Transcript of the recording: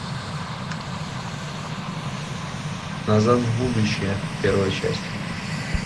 назад в будущее первая часть